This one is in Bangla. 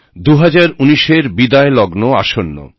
দু হাজার উনিশ এর বিদায় লগ্ন আসন্ন